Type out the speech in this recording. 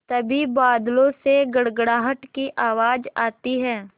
तभी बादलों से गड़गड़ाहट की आवाज़ आती है